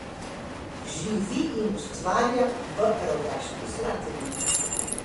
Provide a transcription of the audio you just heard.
Živi in ustvarja v Rogaški Slatini.